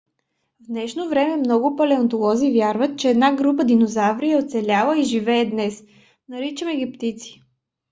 в днешно време много палеонтолози вярват че една група динозаври е оцеляла и живее и днес. наричаме ги птици